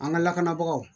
An ka lakanabagaw